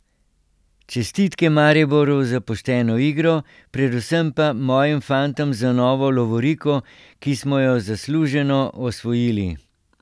Čestitke Mariboru za pošteno igro, predvsem pa mojim fantom za novo lovoriko, ki smo jo zasluženo osvojili.